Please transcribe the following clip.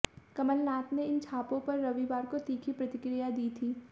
कमलनाथ ने इन छापों पर रविवार को तीखी प्रतिक्रिया दी थी